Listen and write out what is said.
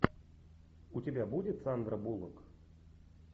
у тебя будет сандра буллок